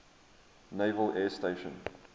naval air station